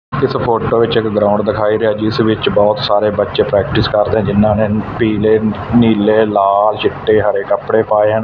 ਇਸ ਫ਼ੋਟੋ ਵਿੱਚ ਇੱਕ ਗਰਾਊਂਡ ਦਿਖਾਈ ਰਿਹਾ ਜਿਸ ਵਿਚ ਬਹੁਤ ਸਾਰੇ ਬੱਚੇ ਪ੍ਰੇਕਟਿਸ ਕਰਦੇ ਹੈਂ ਜਿਹਨਾਂ ਨੇ ਪੀਲੇ ਨੀਲੇ ਲਾਲ ਚਿੱਟੇ ਹਰੇ ਕੱਪੜੇ ਪਾਏ ਹਨ।